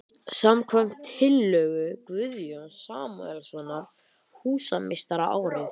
. samkvæmt tillögu Guðjóns Samúelssonar húsameistara árið